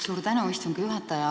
Suur tänu, istungi juhataja!